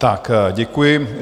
Tak, děkuji.